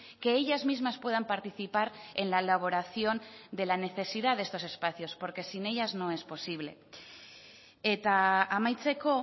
que ellas mismas puedan participar en la elaboración de la necesidad de estos espacios porque sin ellas no es posible eta amaitzeko